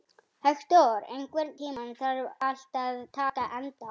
Hektor, einhvern tímann þarf allt að taka enda.